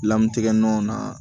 Lamu tigɛ nɔn na